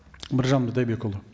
біржан бидайдекұлы